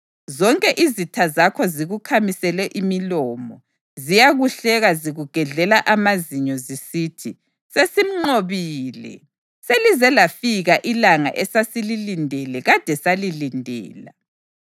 Zonke izitha zakho zikukhamisele imilomo; ziyakuhleka zikugedlela amazinyo zisithi, “Sesimnqobile. Selize lafika ilanga esasililindele; kade salilindela.”